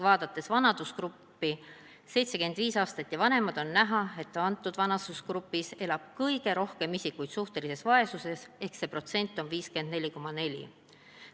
Vaadates vanusegruppi 75-aastased ja vanemad, on näha, et antud vanusegrupis elab kõige rohkem isikuid suhtelises vaesuses ehk see protsent on 54,4.